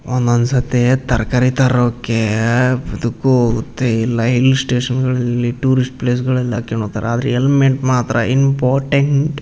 ಒಂದ್ ಒಂದ್ ಸತಿ ತರಕಾರಿ ತರೋಕ್ಕೇಏ ಅದಕ್ಕು ಹೋಗುತ್ತೆ ಇಲ್ಲ ಹಿಲ್ ಸ್ಟೇಷನ್ಗಳಲ್ಲಿ ಟೂರಿಸ್ಟ್ ಪ್ಲೇಸ್ಗಳಲ್ಲಿ ಹಾಕ್ಯಂಡ್ ಹೋಗ್ತಾರೆ ಆದ್ರೆ ಹೆಲ್ಮಟ್ ಮಾತ್ರ ಇಂಪಾಟೆಂಟ್ .